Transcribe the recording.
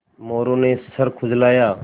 मोरू ने सर खुजलाया